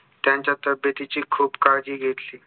त्यांच्या तब्येतीची खूप काळजी घेतली